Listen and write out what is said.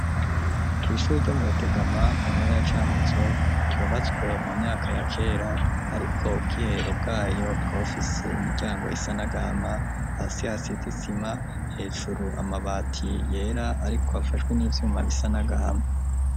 Kw’ishuri, ryo mu Rutegama, mu ntara ya Cankuzo, ryubatswe, mu myaka ya kera; ariko, ubwiherero bwayo, bukaba, bufise imiryango, isa n'agahama; hasi, hasize isima, hejuru, amabati yera, ariko afashwe n'ivyuma bisa n'agahama.